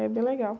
É bem legal.